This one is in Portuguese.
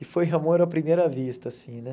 E foi o amor à primeira vista, assim, né?